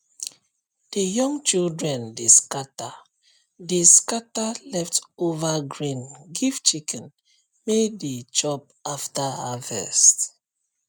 the young children dey scatter dey scatter leftover grain give chicken may dey chop after harvest